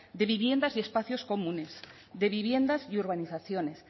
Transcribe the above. de viviendas y espacios comunes de viviendas y urbanizaciones